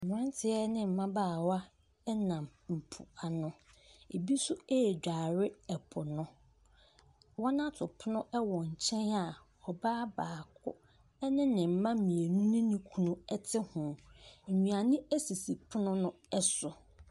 Mmranteɛ ne mbabaawa nam mpoano. Ebi nso redware po no. Wɔn ato pono wɔ nkyɛn a, ɔbaa baako ne ne mma mmienu ne ne kun te ho. Nnuane esisi pono no so.